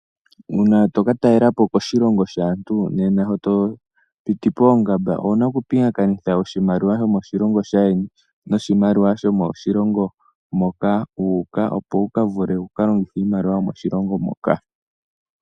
Uuna toka talelapo koshilongo shaantu, nena sho to piti poongamba owuna oku pingakanitha oshimaliwa shomoshilongo shaa ndjeni noshimaliwa shomoshillngo moka wuuka, opo wu vule wuka longithe iimaliwa yomoshilongo moka.